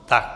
Tak.